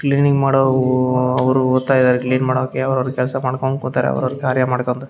Cleaning ಮಾಡವ್ವ್ ಅವ್ರು ಬರ್ತಾರೆ ಕ್ಲೀನಿಂಗ್ ಮಡಕೆ ಅವರವರ ಕೆಲಸ ಮಾಡ್ಕೊಂಡು ಕುಂತರೆ ಅವರವರ ಕಾರ್ಯ ಮಾಡ್ಕೋತ .